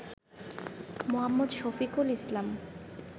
মো.শফিকুল ইসলাম